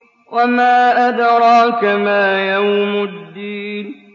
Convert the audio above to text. وَمَا أَدْرَاكَ مَا يَوْمُ الدِّينِ